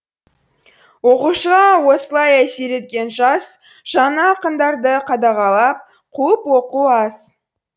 оқушыға осылай әсер еткен жас жаңа ақындарды қадағалап қуып оқу аз